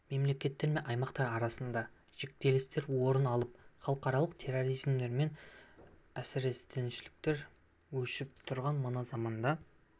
мемлекеттер мен аймақтар арасында жіктелістер орын алып халықаралық терроризм мен әсіредіншілдік өршіп тұрған мына заманда